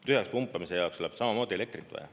Tühjaks pumpamise jaoks läheb samamoodi elektrit vaja.